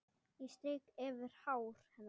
Ég strýk yfir hár hennar.